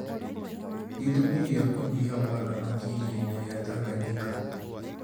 Gĩtũmi kĩa kũnyiha gwa thamaki iria-inĩ rĩa Tanganyika